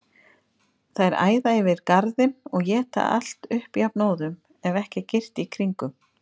Þær æða yfir garðinn og éta allt upp jafnóðum, ef ekki er girt í kringum.